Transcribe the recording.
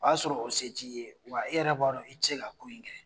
O y'a sɔrɔ o se t'i ye wa i yɛrɛ b'a dɔn i ti se ka ko in kɛ.